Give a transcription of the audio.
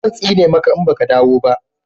zan tsine maka in baka dawo ba